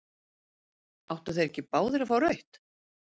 Áttu þeir ekki báðir að fá rautt?